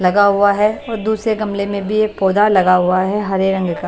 लगा हुआ है और दूसरे गमले में भी एक पौधा लगा हुआ है हरे रंग का।